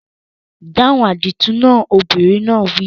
Dáhùn àdìtú náà! Obìnrin náà wí.